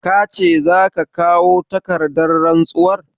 Ka ce za ka kawo takardar rantsuwar?